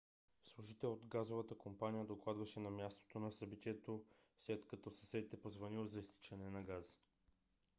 служител от газовата компания докладваше от мястото на събитието след като съсед е позвънил за изтичане на газ